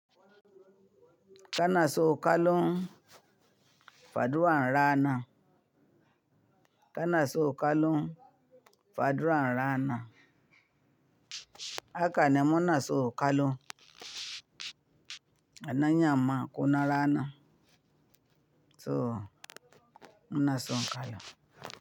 Kana son kallon, faduwan rana. Kana so kallo, faduwa an ra'ana. Haka ne muna so kallo. Na yamma ko na rana. So muna so kallo.